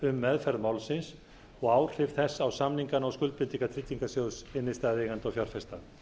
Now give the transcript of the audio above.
um meðferð málsins og áhrif þess á samningana og skuldbindingar tryggingarsjóðs innstæðueigenda og fjárfesta